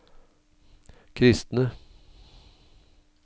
kristne